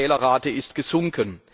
Die Fehlerrate ist gesunken.